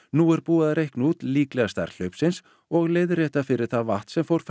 nú er búið að reikna út líklega stærð hlaupsins og leiðrétta fyrir það vatn sem fór